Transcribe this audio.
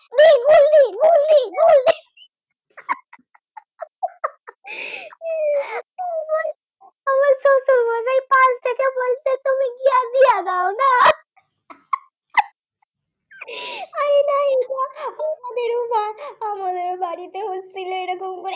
সেই বাড়িতে হচ্ছিল এমনি করে